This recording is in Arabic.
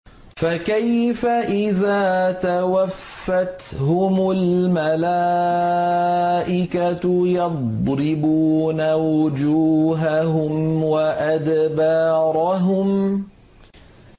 فَكَيْفَ إِذَا تَوَفَّتْهُمُ الْمَلَائِكَةُ يَضْرِبُونَ وُجُوهَهُمْ وَأَدْبَارَهُمْ